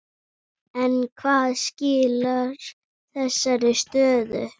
En hvað skilar þessari stöðu?